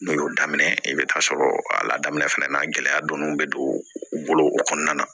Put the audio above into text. N'o y'o daminɛ i bɛ taa sɔrɔ a la daminɛ fɛnɛ na gɛlɛya dɔnnen bɛ don u bolo o kɔnɔna na